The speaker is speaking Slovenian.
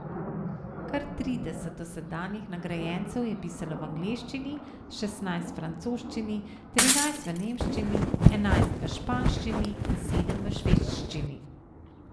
Kar trideset dosedanjih nagrajencev je pisalo v angleščini, šestnajst v francoščini, trinajst v nemščini, enajst v španščini in sedem v švedščini.